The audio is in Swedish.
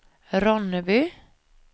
Ronneby